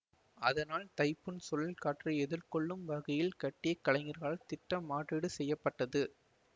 அதனால் தைப்பூன் சுழல் காற்றை எதிர்கொள்ளும் வகையில் கட்டி கலைஞர்களால் திட்டம் மாற்றீடு செய்ய பட்டது